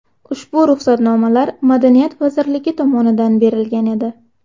Ushbu ruxsatnomalar Madaniyat vazirligi tomonidan berilgan edi.